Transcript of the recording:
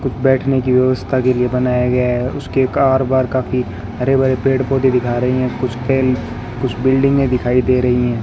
कुछ बैठने की व्यवस्था के लिए बनाया गया है उसके कार बाहर काफी हरे भरे पेड़ पौधे दिखा रहे हैं कुछ खेल कुछ बिल्डिंगे दिखाई दे रही हैं।